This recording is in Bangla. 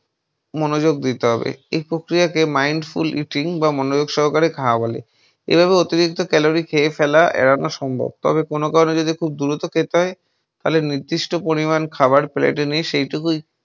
মনযোগ দিতে হবে এই প্রক্রিয়াকে mindful eating বা মনযোগ সহকারে খাওয়া বলে। এভাবে অতিরিক্ত calorie খেয়ে ফেলা এরানো‌ সম্ভব । তবে কোনো কারণে যদি খুব দ্রুত খেতে হয় তবে নির্দিষ্ট পরিমাণ খাবার plate নিয়ে সেই টুকুই